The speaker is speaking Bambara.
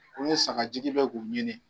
sagajigi bɛ k'u ɲini.